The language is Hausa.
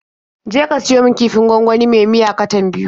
Je ka siyo min kifin gwangwani me miya katan biyu.